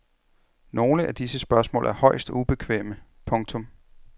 Nogle af disse spørgsmål er højst ubekvemme. punktum